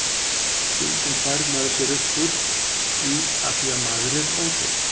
Stundum þvær maður sér upp úr því afþvíað maður er óhreinn.